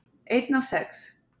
Einn af sex